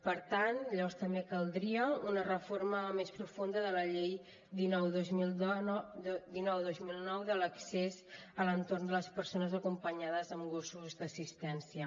per tant llavors també caldria una reforma més profunda de la llei dinou dos mil nou de l’accés a l’entorn de les persones acompanyades amb gossos d’assistència